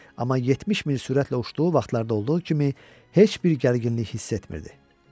Amma 70 mil sürətlə uçduğu vaxtlarda olduğu kimi heç bir gərginlik hiss etmirdi.